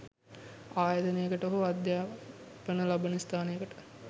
ආයතනයකට හෝ අධ්‍යාපන ලබන ස්ථානයකට